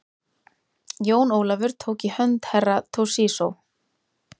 Jón Ólafur tók í hönd Herra Toshizo.